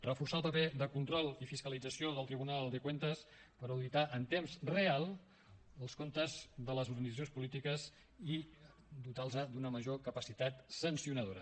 reforçar el paper de control i fiscalització del tribunal de cuentas per auditar en temps real els comptes de les organitzacions polítiques i dotar les d’una major capacitat sancionadora